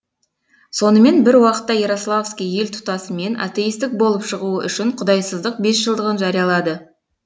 сонымен бір уақытта ярославский ел тұтасымен атеистік болып шығуы үшін құдайсыздық бесжылдығын жариялады